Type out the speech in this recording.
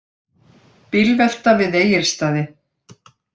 Bílvelta við Egilsstaði